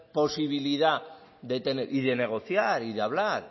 posibilidad de tener y de negociar de hablar